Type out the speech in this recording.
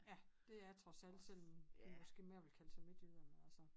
Ja det er trods alt sådan man måske mere ville kalde sig Midtjylland altså